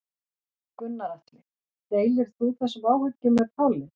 Gunnar Atli: Deilir þú þessum áhyggjum með Páli?